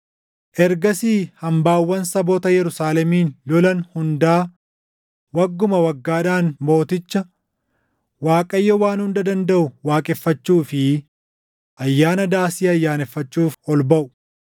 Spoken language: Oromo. Ergasii hambaawwan saboota Yerusaalemin lolan hundaa wagguma waggaadhaan Mooticha, Waaqayyo Waan Hunda Dandaʼu waaqeffachuu fi Ayyaana Daasii ayyaaneffachuuf ol baʼu.